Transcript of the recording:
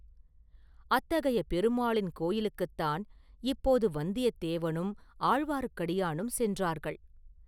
அத்தகைய பெருமாளின் கோயிலுக்குத்தான் இப்போது வந்தியத்தேவனும் ஆழ்வார்க்கடியானும் சென்றார்கள்.